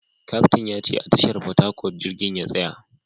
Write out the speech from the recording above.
Kaftin ya ce a tashar Port Harcourt jirgin ya tsaya